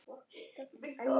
Doddi hlær.